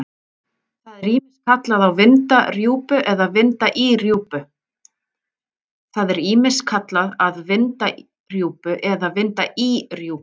Það er ýmist kallað að vinda rjúpu eða vinda í rjúpu.